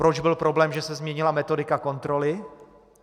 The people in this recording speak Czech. Proč byl problém, že se změnila metodika kontroly?